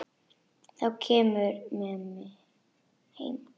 Þá kemurðu með mér heim.